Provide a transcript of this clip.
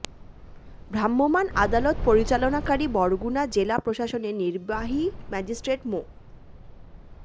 ভ্রাম্যমাণ আদালত পরিচালনাকারী বরগুনা জেলা প্রশাসনের নির্বাহী ম্যাজিস্ট্রেট মো